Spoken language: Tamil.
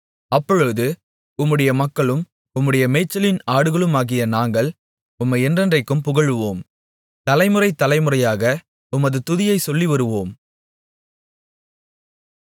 அப்பொழுது உம்முடைய மக்களும் உம்முடைய மேய்ச்சலின் ஆடுகளுமாகிய நாங்கள் உம்மை என்றென்றைக்கும் புகழுவோம் தலைமுறை தலைமுறையாக உமது துதியைச் சொல்லிவருவோம்